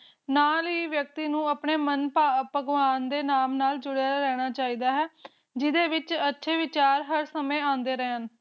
ਨਾਂ ਹੀ ਵਿਅਕਤੀ ਨੂੰ ਆਪਣਾ ਮਨ ਭਗਵਾਨ ਦੇ ਨਾਮ ਨਾਲ ਜੁੜੇ ਰਹਿਣਾ ਚਾਹੀਦਾ ਹੈ ਜਿਹਦੇ ਵਿਚ ਅਰਥ-ਵਿਚਾਰ ਹਰ ਸਮੇਂ ਆਂਡੇ ਰਹਿਣ